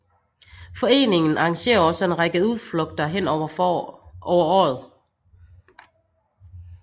Foreningen arrangerer også en række udflugter hen over året